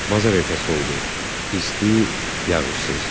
Bazar ertəsi oldu, isti, yağışsız.